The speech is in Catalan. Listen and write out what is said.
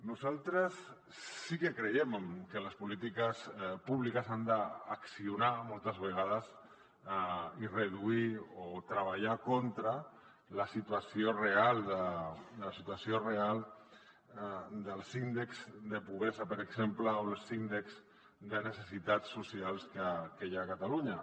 nosaltres sí que creiem que les polítiques públiques han d’accionar moltes vegades i treballar contra la situació real dels índexs de pobresa per exemple o dels índexs de necessitats socials que hi ha a catalunya